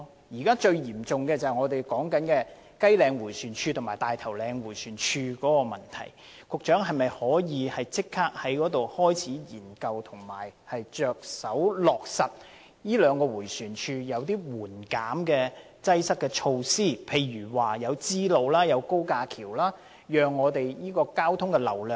現時最嚴重是雞嶺迴旋處及大頭嶺迴旋處的問題，局長可否立即研究及着手在這兩個迴旋處落實一些紓緩交通擠塞的措施，例如興建支路和高架橋，以疏導交通流量？